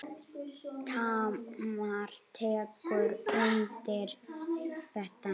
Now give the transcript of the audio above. Tamar tekur undir þetta.